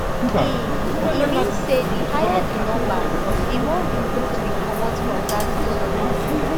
e e mean say di higher di number di more recruits wey comot from dat colony